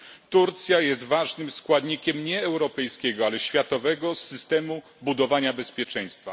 Turcja jest ważnym składnikiem nie europejskiego, ale światowego systemu budowania bezpieczeństwa.